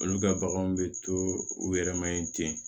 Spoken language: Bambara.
Olu ka baganw bɛ to u yɛrɛ man ɲi ten